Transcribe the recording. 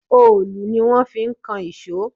Òòlù ni wón fi kan ìṣọ́.